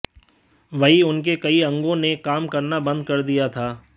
वहीं उनके कई अंगों ने काम करना बंद कर दिया था